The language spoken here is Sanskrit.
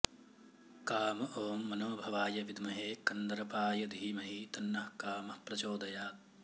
काम ॐ मनोभवाय विद्महे कन्दर्पाय धीमहि तन्नः कामः प्रचोदयात्